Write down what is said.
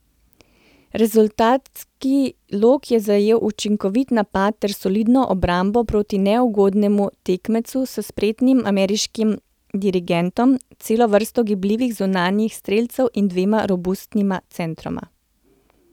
Rezultatski lok je zajel učinkovit napad ter solidno obrambo proti neugodnemu tekmecu s spretnim ameriškim dirigentom, celo vrsto gibljivih zunanjih strelcev in dvema robustnima centroma.